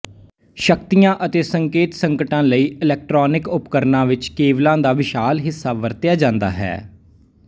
ਸ਼ਕਤੀਆਂ ਅਤੇ ਸੰਕੇਤ ਸੰਕਟਾਂ ਲਈ ਇਲੈਕਟ੍ਰੋਨਿਕ ਉਪਕਰਣਾਂ ਵਿੱਚ ਕੇਬਲਾਂ ਦਾ ਵਿਸ਼ਾਲ ਹਿੱਸਾ ਵਰਤਿਆ ਜਾਂਦਾ ਹੈ